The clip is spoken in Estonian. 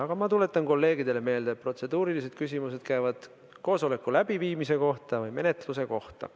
Aga ma tuletan kolleegidele meelde, et protseduurilised küsimused käivad koosoleku läbiviimise kohta või menetluse kohta.